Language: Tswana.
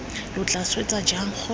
lo tla swetsa jang gore